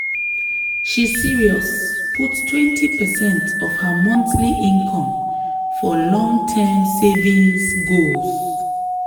she serious put 20 percent of her monthly income for long-term savings goals.